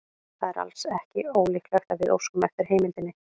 Það er ekki ólíklegt að við óskum eftir heimildinni.